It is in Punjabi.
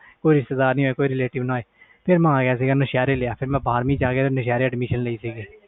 ਕੋਈ ਰਿਸਤੇਦਰ ਨਾ ਹੋਵੇ ਫਿਰ ਮੈਂ ਆ ਗਿਆ ਸੀ ਫਿਰ ਮੈਂ ਸ਼ਹਿਰ ਵਿਚ ਆ ਗਿਆ ਸ਼ਹਿਰ ਹੀ admission ਲਈ ਸੀ